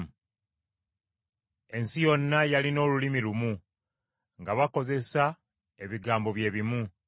Ensi yonna yalina olulimi lumu, nga bakozesa ebigambo bye bimu.